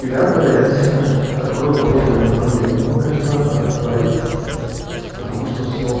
миллиарда я обязательно открою подобное направление но пока ещё рано про это говорить потому что все